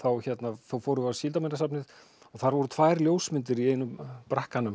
fórum við á Síldarminjasafnið og þar voru tvær ljósmyndir í einum bragganum